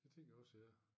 Det tænker jeg også ja